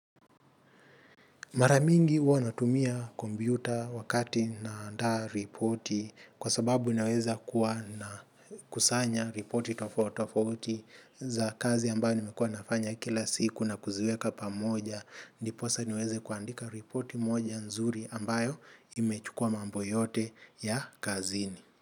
Mara mingi huwa natumia kompyuta wakati naandaa ripoti kwa sababu naweza kuwa na kusanya ripoti tofauti tofauti za kazi ambayo nimekua nafanya kila siku na kuziweka pamoja. Ndiposa niweze kuandika ripoti moja nzuri ambayo imechukua mambo yote ya kazini.